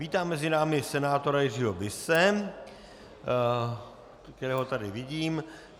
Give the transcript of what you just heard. Vítám mezi námi senátora Jiřího Bise, kterého tady vidím.